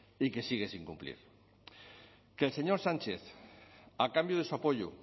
y que sigue sin cumplir que el señor sánchez a cambio de su apoyo